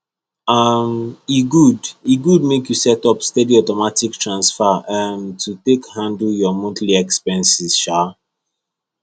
um e good e good make you set up steady automatic transfer um to take handle your monthly expenses um